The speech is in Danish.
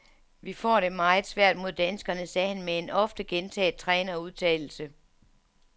Vi får det meget svært mod danskerne, sagde han med en ofte gentaget trænerudtalelse.